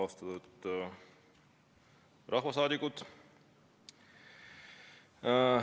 Austatud rahvasaadikud!